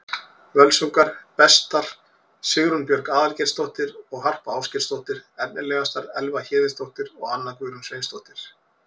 Völsungur: Bestar: Sigrún Björg Aðalgeirsdóttir og Harpa Ásgeirsdóttir Efnilegastar: Elva Héðinsdóttir og Anna Guðrún Sveinsdóttir